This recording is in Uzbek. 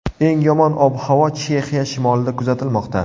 Eng yomon ob-havo Chexiya shimolida kuzatilmoqda.